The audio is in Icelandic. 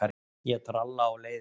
Ég tralla á leiðinni.